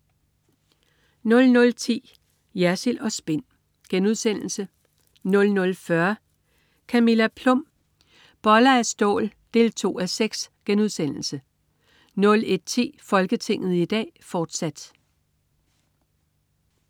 00.10 Jersild & Spin* 00.40 Camilla Plum. Boller af stål 2:6* 01.10 Folketinget i dag, fortsat